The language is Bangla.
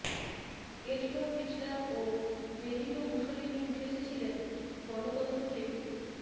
এডলফ হিটলার ও বেনিটো মুসোলিনি উঠে এসেছিলেন গণত্নত্র থেকেই